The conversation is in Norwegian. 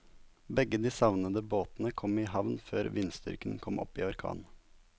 Begge de savnede båtene kom i havn før vindstyrken kom opp i orkan.